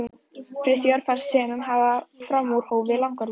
Friðþjófi og fannst sumum hann fram úr hófi langorður.